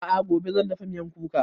A'a gobe zan dafa miyan kuka